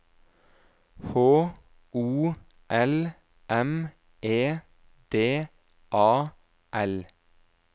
H O L M E D A L